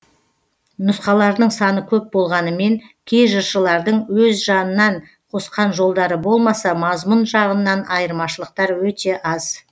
нұсқаларының саны көп болғанымен кей жыршылардың өз жанынан қосқан жолдары болмаса мазмұн жағынан айырмашылықтар өте аз